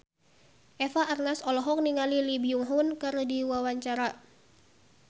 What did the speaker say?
Eva Arnaz olohok ningali Lee Byung Hun keur diwawancara